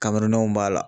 Kamelenw b'a la